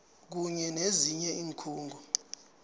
kunye nezinye iinkhungo